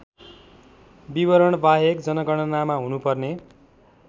विवरणबाहेक जनगणनामा हुनुपर्ने